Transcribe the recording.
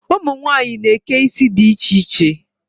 Ụmunwanyị na-eke isi di iche iche.